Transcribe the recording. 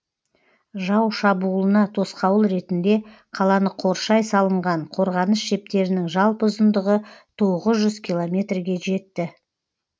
жау шабуылына тосқауыл ретінде қаланы қоршай салынған қорғаныс шептерінің жалпы ұзындығы тоғыз жүз километрге жетті